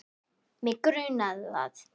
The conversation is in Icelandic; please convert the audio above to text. Mig grunaði það!